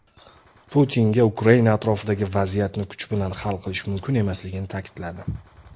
Putinga Ukraina atrofidagi vaziyatni kuch bilan hal qilish mumkin emasligini ta’kidladi.